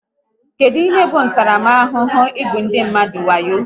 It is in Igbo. Kedụ ihe bụ ntaramahụhụ maka igbu ndị mmadụ wayo?